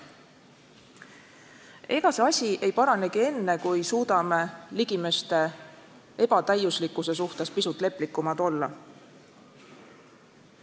Ega see asi ei paranegi enne, kui suudame ligimeste ebatäiuslikkuse suhtes pisut leplikumad olla.